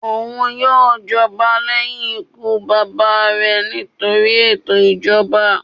Oun yoo jọba lẹhin ikú baba rẹ nitori eto ijọba.